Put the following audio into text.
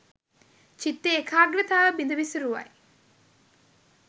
චිත්ත ඒකාග්‍රතාව බිඳ විසුරුවයි.